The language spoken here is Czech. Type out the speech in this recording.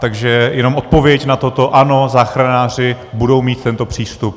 Takže jenom odpověď na toto - ano, záchranáři budou mít tento přístup.